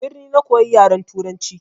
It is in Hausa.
A birni na koya yaran turanci.